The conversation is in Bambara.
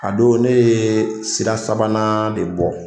A don ne ye sira sabanan de bɔ